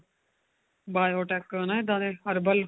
biotique ਹਨਾ ਇੱਦਾਂ ਦੇ herbal